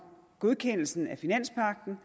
godkendelsen af finanspagten